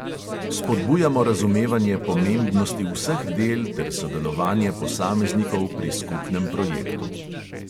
Spodbujamo razumevanje pomembnosti vseh del ter sodelovanje posameznikov pri skupnem projektu.